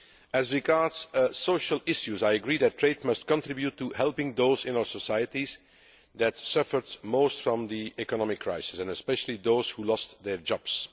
As regards social issues, I agree that trade must contribute to helping those people in our societies who suffered most from the economic crisis, especially those who lost their jobs.